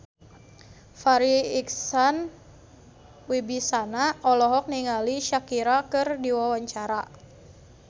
Farri Icksan Wibisana olohok ningali Shakira keur diwawancara